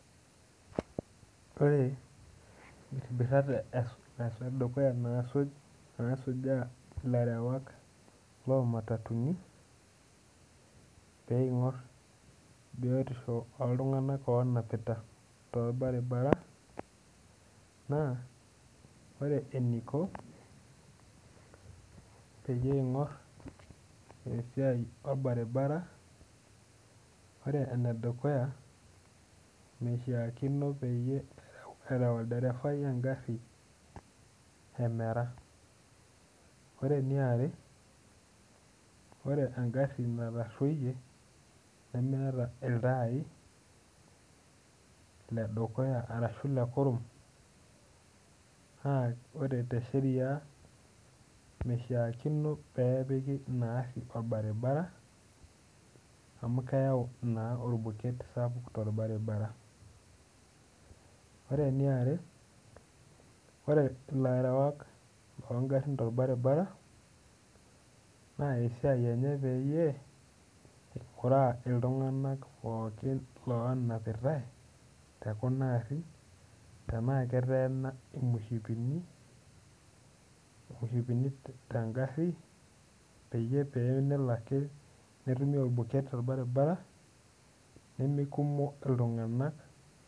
Ore imbirribirat edukuya naasuj nasujaa ilarewak loo matatuni peing'orr biotisho oltung'anak onapita torbaribara naa ore eniko peyie eing'orr esiai orbaribara ore enedukuya meishiakino peyie erew, erew olderefai engarri emera ore eniare ore engarri natarruoyie nemeeta iltai ledukuya arashu lekurum naa ore te sheria meshiakino peepiki ina arri orbaribara amu keyau naa orbuket sapuk torbaribara ore eniare ore ilarewak longarrin torbaribara naa esiai enye peyie ing'uraa iltung'anak pookin lonapitae tekuna arrin tenaa keteena imoshipini, imoshipini tengarri peyie pee enelo ake netumi orbuket torbaribara nemeikumo iltung'anak.